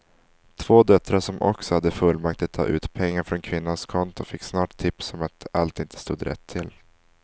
Två döttrar som också hade fullmakt att ta ut pengar från kvinnans konton fick snart tips om att allt inte stod rätt till.